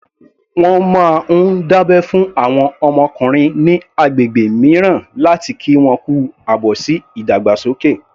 Wọ́n máa ń dábẹ́ fún àwọn ọkùnrin ní agbègbè mìíràn láti kí wọn kú àbọ̀ sí ìdàgbàsókè